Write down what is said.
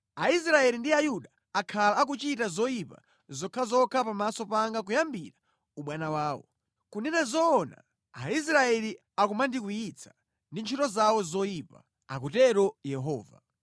“Aisraeli ndi Ayuda akhala akuchita zoyipa zokhazokha pamaso panga kuyambira ubwana wawo. Kunena zoona Aisraeli akumandikwiyitsa ndi ntchito zawo zoyipa, akutero Yehova.